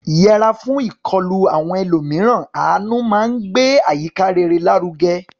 Yẹra fún ìkọlù àwọn ẹlòmíràn; àánú máa ń gbé àyíká rere lárugẹ.